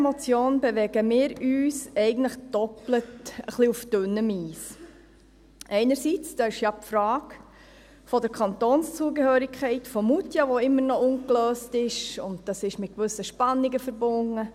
Einerseits ist ja da die Frage der Kantonszugehörigkeit von Moutier, die immer noch ungelöst ist, und das ist mit gewissen Spannungen verbunden.